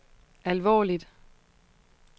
alvorligt